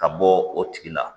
Ka bɔ o tigi la